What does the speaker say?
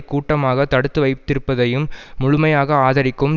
கூட்டமாக தடுத்து வைத்திருப்பதையும் முழுமையாக ஆதரிக்கும்